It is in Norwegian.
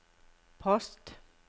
post